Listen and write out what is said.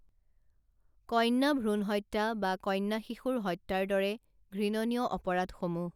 কন্যাভ্ৰূণ হত্যা বা কন্যাশিশুৰ হত্যাৰ দৰে ঘৃণনীয় অপৰাধসমূহ